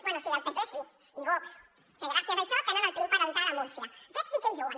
bé sí el pp sí i vox que gràcies a això tenen el pin parental a múrcia aquests sí que hi juguen